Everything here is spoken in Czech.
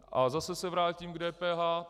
A zase se vrátím k DPH.